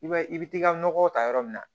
I b'a ye i bɛ t'i ka nɔgɔw ta yɔrɔ min na